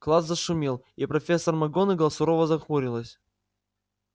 класс зашумел и профессор макгонагалл сурово нахмурилась